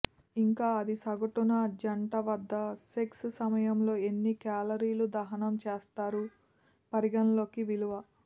ఇంకా అది సగటున జంట వద్ద సెక్స్ సమయంలో ఎన్ని కేలరీలు దహనం చేస్తారు పరిగణలోకి విలువ